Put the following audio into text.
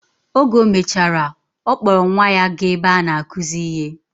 Oge omechara, okpor nwa ya ga ebe ana akuzi ihe.